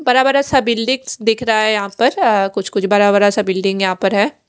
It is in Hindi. बड़ा बड़ा सा बिल्डिंग दिख रही है यहाँ पर कुछ बड़ा बड़ा सा बिल्डिंग यहाँ पर है।